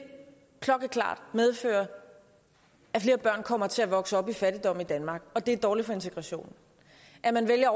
medføre at flere børn kommer til at vokse op i fattigdom i danmark og at det er dårligt for integrationen at man vælger at